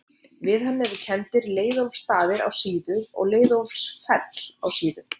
Við hann eru kenndir Leiðólfsstaðir á Síðu og Leiðólfsfell á Síðu.